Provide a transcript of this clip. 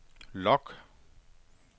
log